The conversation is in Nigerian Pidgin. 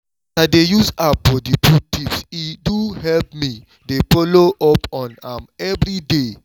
as i dey use app for the food tips e do help me dey follow up on am every day